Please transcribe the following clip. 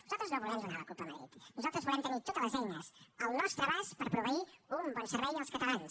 nosaltres no volem donar la culpa a madrid nosaltres volem tenir totes les eines al nostre abast per proveir un bon servei als catalans